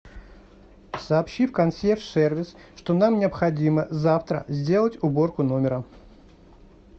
сообщи в консьерж сервис что нам необходимо завтра сделать уборку номера